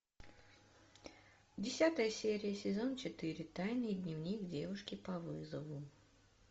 десятая серия сезон четыре тайный дневник девушки по вызову